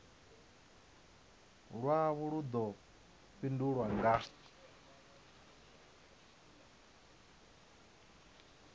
lwavho lu ḓo fhindulwa nga